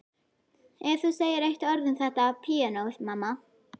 Ef þú segir eitt orð um þetta píanó, mamma.